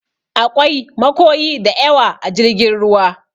Aƙwai makoyi daƴawa a jirgin ruwa.